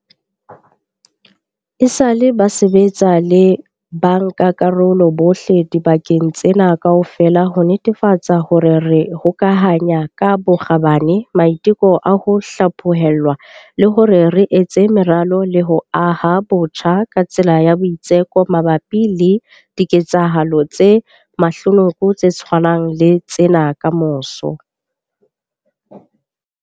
Esale ba sebetsa le bankakarolo bohle dibakeng tsena kaofela ho netefatsa hore re hokahanya ka bokgabane maiteko a ho hlaphohelwa le hore re etsa meralo le ho aha botjha ka tsela ya boitseko mabapi le diketsahalo tse mahlonoko tse tshwanang le tsena kamoso.